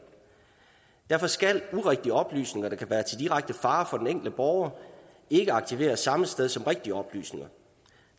derfor skal urigtige oplysninger der kan være til direkte fare for den enkelte borger ikke arkiveres samme sted som rigtige oplysninger